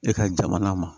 E ka jamana ma